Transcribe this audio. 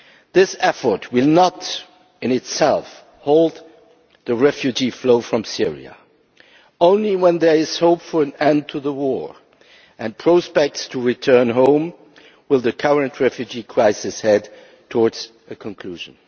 This effort will not in itself halt the refugee flow from Syria only when there is hope for an end to the war and prospects to return home will the current refugee crisis head towards a conclusion.